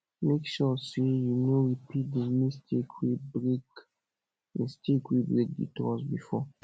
mek sure sey you no repeat di mistake wey break mistake wey break di trust bifor